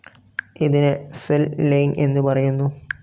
ഇതിനെ cell line എന്നുപറയുന്നു.